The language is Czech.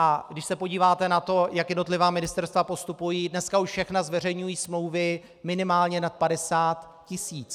A když se podíváte na to, jak jednotlivá ministerstva postupují, dneska už všechna zveřejňují smlouvy minimálně nad 50 tisíc.